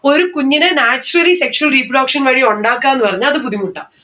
ഒരു കുഞ്ഞിനെ naturally sexual reproduction വഴി ഉണ്ടാക്കാന്ന് പറഞ്ഞ അത് ബുദ്ധിമുട്ടാ